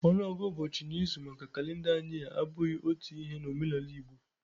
ọnụọgụ ụbọchị n'izu maka kalenda anyi a abụghị otu Ihe n'omenala Igbo